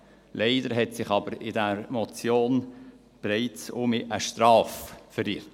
Leider hat sich aber in diese Motion bereits wieder eine Strafe verirrt.